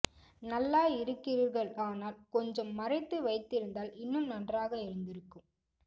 நல்ல இருக்கிறீர்கள் ஆனால் கொஞ்சம் மறைத்து வைத்திருந்தால் இன்னும் நன்றாக இருந்திருக்கும்